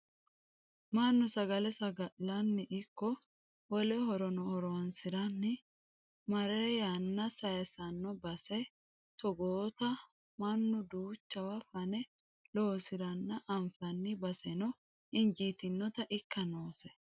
Mannu sagale saga'lanni ikko wole horono horonsiranni marre yanna saysanno base togootta mannu duuchawa fane loosiranna anfanni baseno injitinotta ikka noose.